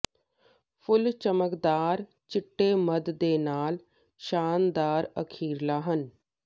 ਫੁੱਲ ਚਮਕਦਾਰ ਚਿੱਟੇ ਮੱਧ ਦੇ ਨਾਲ ਸ਼ਾਨਦਾਰ ਅਖ਼ੀਰਲਾ ਹਨ